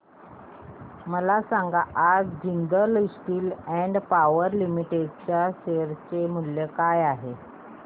मला सांगा आज Jindal steel and power limited च्या शेअर चे मूल्य काय आहे